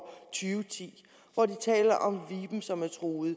ti hvor de taler om viben som er truet